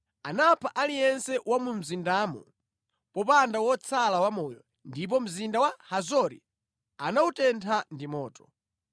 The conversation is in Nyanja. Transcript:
Anapha aliyense wa mu mzindamo popanda wotsala wamoyo, ndipo mzinda wa Hazori anawutentha ndi moto.